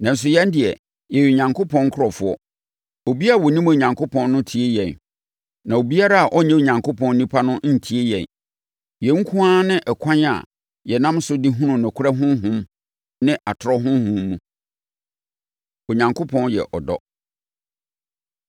Nanso, yɛn deɛ, yɛyɛ Onyankopɔn nkurɔfoɔ. Obiara a ɔnim Onyankopɔn no tie yɛn. Na obiara a ɔnyɛ Onyankopɔn onipa no ntie yɛn. Yei nko ara ne ɛkwan a yɛnam so de hunu nokorɛ Honhom ne atorɔ honhom mu. Onyankopɔn Yɛ Ɔdɔ